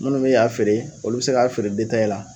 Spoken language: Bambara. Munnu be y'a feere olu be se k'a feere detaye la